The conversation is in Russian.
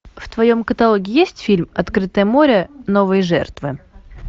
в твоем каталоге есть фильм открытое море новые жертвы